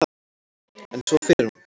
En svo fer hún.